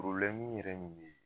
yɛrɛ ye min ye.